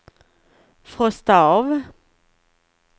frosta av